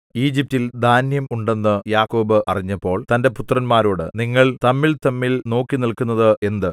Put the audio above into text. ഈജിപ്റ്റിൽ ധാന്യം ഉണ്ടെന്ന് യാക്കോബ് അറിഞ്ഞപ്പോൾ തന്റെ പുത്രന്മാരോട് നിങ്ങൾ തമ്മിൽതമ്മിൽ നോക്കിനില്ക്കുന്നത് എന്ത്